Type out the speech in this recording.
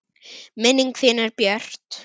Minning þín er björt.